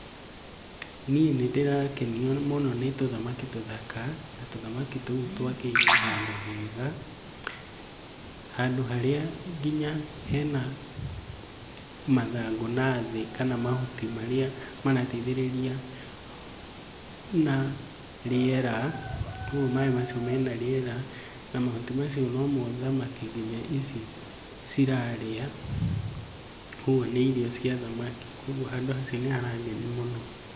Niĩ nĩndĩrakenio mũno nĩtũthamaki tũthaka, na tuthamaki tũu twakĩirwo handũ hega. Handũ harĩa nginya hena mathangũ nathĩ, kana mahuti marĩa marateithĩrĩria na rĩera, ũguo maĩ macio mena rĩera na mahuti macio nomo thamaki nginya ici cirarĩa, ũguo nĩ irio cia thamaki. Koguo handũ hacio nĩharangenia mũno.